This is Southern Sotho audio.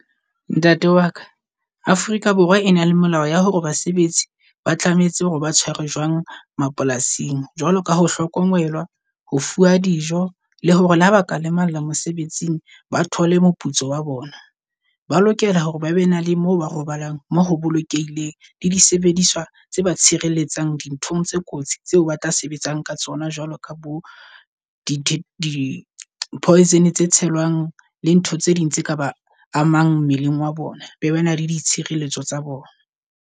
Ntate wa ka Afrika Borwa e na le molao ya hore basebetsi ba tlametse hore ba tshwarwe jwang mapolasing jwalo ka ho hlokomela, ho fuwa dijo le hore le ha ba ka lemalla mosebetsing, ba thole moputso wa bona. Ba lokela hore ba be na le mo ba robalang mo ho bolokehileng le disebediswa tse ba tshireletsang dinthong tse kotsi tseo ba tla sebetsang ka tsona. Jwalo ka bo di-poison tse tshelwang, le ntho tse ding tse ka ba a mang mmeleng wa bona, be ba na le ditshireletso tsa bona.